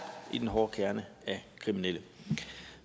i den hårde kerne af kriminelle